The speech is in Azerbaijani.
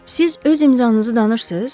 Siz öz imzanızı danırsız?